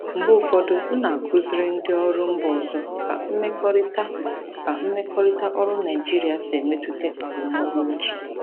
Mgbe ụfọdụ, m na-akụziri ndị ọrụ mba ọzọ ka mmekọrịta ka mmekọrịta ọrụ Naijiria si emetụta arụmọrụ otu.